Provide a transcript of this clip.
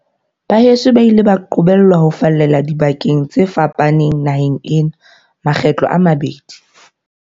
Baheso ba ile ba qobellwa ho fallela dibakeng tse fa paneng naheng ena makgetlo a mabedi.